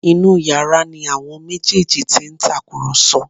Inú yàrá ni àwọn méjèèjì ti ń tàkùrọ̀sọ